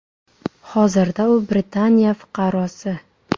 Hozirda u Britaniya fuqarosi.